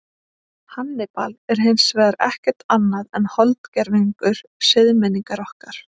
Hannibal er hins vegar ekkert annað en holdgervingur siðmenningar okkar.